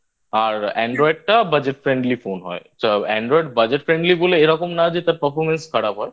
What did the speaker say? আর Android টা Budget Friendly Phone হয় Android Budget Friendly বলে এরকম না যে তার Performance খারাপ হয়।